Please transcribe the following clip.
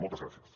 moltes gràcies